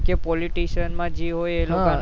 કે politician માં જે એ લોકો ન